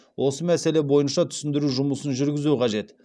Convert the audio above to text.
осы мәселе бойынша түсіндіру жұмысын жүргізу қажет